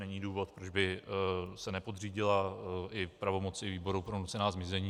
Není důvod, proč by se nepodřídila i pravomoci Výboru pro nucená zmizení.